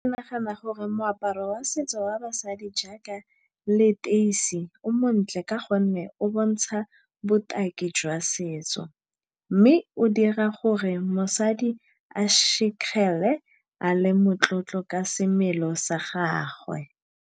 Ke nagana gore moaparo wa setso wa basadi jaaka leteisi o montle ka gonne o bontsha botaki jwa setso. Mme o dira gore mosadi a a le motlotlo ka semelo sa gagwe.